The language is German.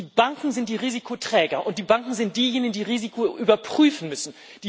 Die Banken sind die Risikoträger, und die Banken sind diejenigen, die Risiko überprüfen müssen.